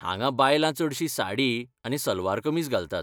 हांगा बायलां चडशीं साडी आनी सलवार कमीज घालतात.